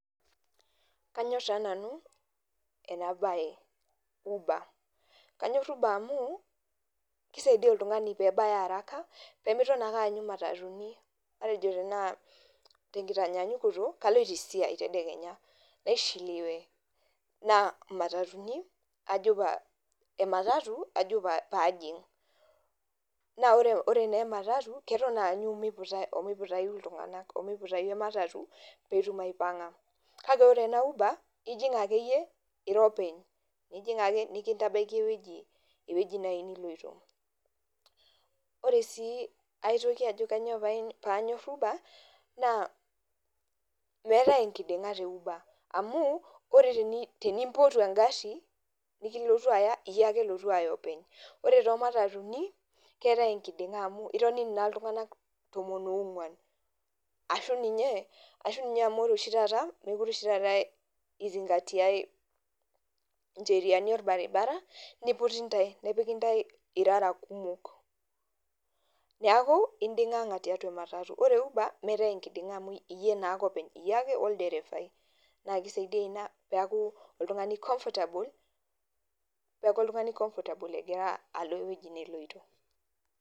Kanyor taa nanu ena baye uber kanyor uber amu kisaidia oltung'ani peebaya haraka pee mitoton ake ayanyu matatu ni. Matejo tenaa tenkitanyanyukoto kaloito esiai tedekenya naishiliwe naa matatu ni ajo paa e matatu ajo paajing' naa ore naa e matatu keton aanyu miputa o miputayu iltung'anak o miputayu e matatu peeetum aipang'a. Kake ore ena uber ijing' ake yie ira openy nijing' ake nekintabaiki ewueji nai niloito. Ore sii aitoki ajo kanyo paanyor uber naa meetai enkiding'a te uber amu tenimpotu eng'ari nikilotu aya iyie ake elotu aya openy. Ore too matatu ni keetai enkiding'a amu itonini naa o iltung'anak tomon oo nkuan ashu ninye ashu ninye amu ore oshi taata mekureoshi tataa ninye izi ngatia i njeriani orbaribara niputi ntae nepiki ntae irara kumok, neeku inding'ang'a tiatua e matatu. Ore e uber meetai enkiding'a amu iye naake openy, iye ake olderefai, naake isaidia ina peeku oltung'ani comfortable peeku oltung'ani comfortable egira alo ewoji neloito.